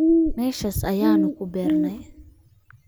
Meeshaas ayaanu ku beernay